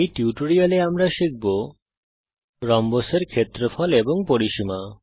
এই টিউটোরিয়াল এ আমরা খুঁজে পেতে শিখব রম্বসের ক্ষেত্রফল এবং পরিসীমা